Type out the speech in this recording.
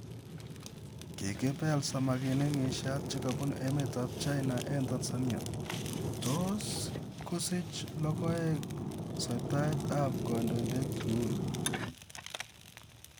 Kkipeel samakinik ng'isiiat chekabuunu emet ap china ing' tanzania. Tos kosiich logoek soitaaet ap kandoindet uhuru?